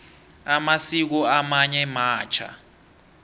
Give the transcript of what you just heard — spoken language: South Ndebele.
amasiko amanye matjha